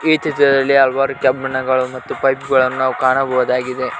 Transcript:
ಈ ಚಿತ್ರದಲ್ಲಿ ಹಲ್ವಾರು ಕೆಬ್ಬಿಣಗಳು ಮತ್ತು ಪೈಪ್ ಗಳನ್ನು ನಾವು ಕಾಣಬಹುದಾಗಿದೆ.